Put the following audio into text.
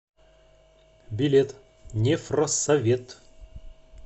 билет нефросовет